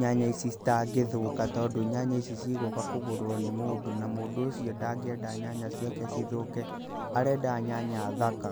nyanya ici citangĩthũka tondũ nyanya ici cigũka kũgũrwo nĩ mũndũ, na mũndũ ũcio ndangĩenda nyanya ciake cithũke, arenda nyanya thaka.